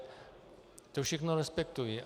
To všechno respektuji.